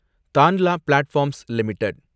Tanla platforms limited